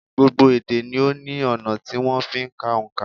Gbogbo ede ni ó ní ọ̀nà tí wón fi ń ka òǹkà